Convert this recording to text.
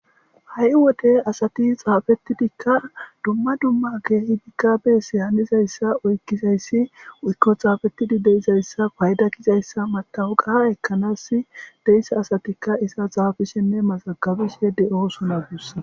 Hai wote asati xaafetidikka dumma dumma keehi di kaabe si hannizayssa oykkizayssi uykko xaafettidi deizayssa payda kizayssa mata uqaha ekkanas deissa asatikka iza xaafishenne maxagabishe de7o sona guussa.